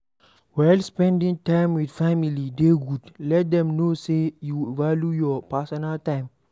While spending time with family dey good, let them know sey you value your personal time